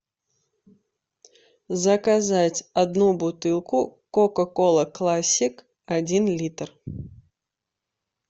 заказать одну бутылку кока кола классик один литр